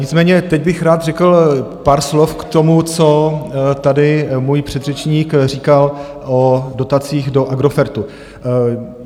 Nicméně teď bych rád řekl pár slov k tomu, co tady můj předřečník říkal o dotacích do Agrofertu.